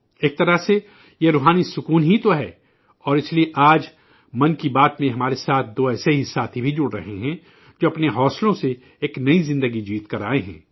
ایک طرح سے یہ 'سوانتہ سکھائے' ہی تو ہے اور اس لئے 'من کی بات' ہمارے ساتھ دو ایسے ہی ساتھی بھی جڑ رہے ہیں جو اپنے حوصلوں سے ایک نئی زندگی جیت کر آئے ہیں